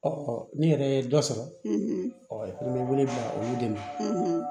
ni yɛrɛ ye dɔ sɔrɔ i bɛ wele bila olu de ma